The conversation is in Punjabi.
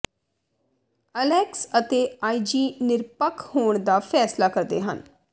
ਅਲੈਕਸ ਅਤੇ ਆਈਜੀ ਨਿਰਪੱਖ ਹੋਣ ਦਾ ਫੈਸਲਾ ਕਰਦੇ ਹਨ